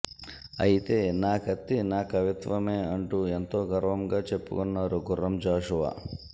అయితే నా కత్తి నా కవిత్వమే అంటూ ఎంతోగర్వంగా చెప్పకున్నారు గుఱ్ఱం జాఘవా